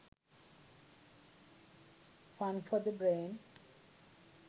fun for the brain